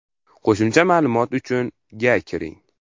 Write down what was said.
Qo‘shimcha ma’lumot uchun ga kiring.